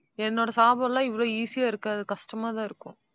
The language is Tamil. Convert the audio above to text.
என்னோட சாபம் எல்லாம் இவ்வளவு easy ஆ இருக்காது. கஷ்டமாதான் இருக்கும்.